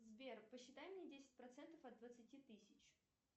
сбер посчитай мне десять процентов от двадцати тысяч